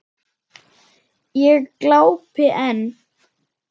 Ég glápi enn.